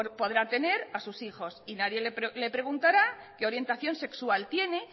podrá tener a sus hijos y nadie le preguntará qué orientación sexual tiene